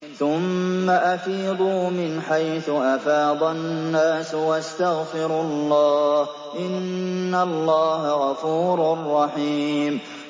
ثُمَّ أَفِيضُوا مِنْ حَيْثُ أَفَاضَ النَّاسُ وَاسْتَغْفِرُوا اللَّهَ ۚ إِنَّ اللَّهَ غَفُورٌ رَّحِيمٌ